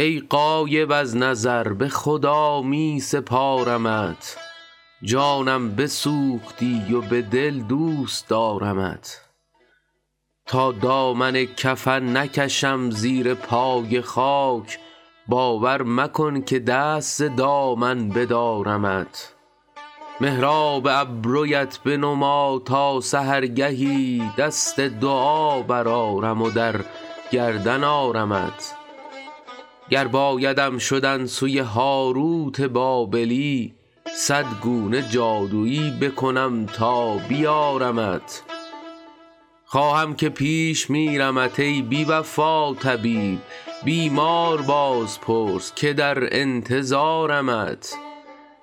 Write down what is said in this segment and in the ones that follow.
ای غایب از نظر به خدا می سپارمت جانم بسوختی و به دل دوست دارمت تا دامن کفن نکشم زیر پای خاک باور مکن که دست ز دامن بدارمت محراب ابرویت بنما تا سحرگهی دست دعا برآرم و در گردن آرمت گر بایدم شدن سوی هاروت بابلی صد گونه جادویی بکنم تا بیارمت خواهم که پیش میرمت ای بی وفا طبیب بیمار باز پرس که در انتظارمت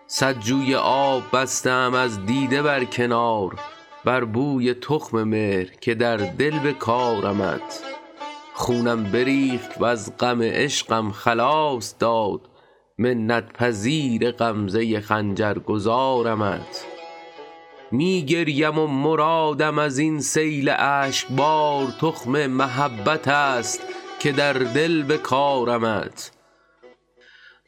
صد جوی آب بسته ام از دیده بر کنار بر بوی تخم مهر که در دل بکارمت خونم بریخت وز غم عشقم خلاص داد منت پذیر غمزه خنجر گذارمت می گریم و مرادم از این سیل اشک بار تخم محبت است که در دل بکارمت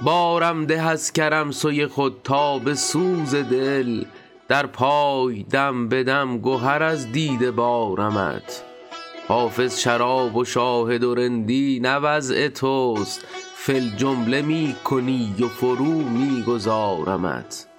بارم ده از کرم سوی خود تا به سوز دل در پای دم به دم گهر از دیده بارمت حافظ شراب و شاهد و رندی نه وضع توست فی الجمله می کنی و فرو می گذارمت